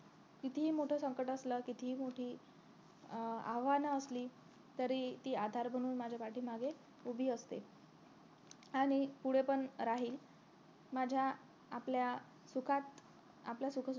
कितीही मोठं संकट असलं कितीही मोठी अं आव्हान असली तरी ती आधार बनून माझ्या पाठीमागे उभी असते आणि पुढे पण राहील माझ्या आपल्या सुखात आपल्या सुखदुःखात